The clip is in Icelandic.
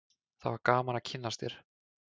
það var gaman að kynnast þér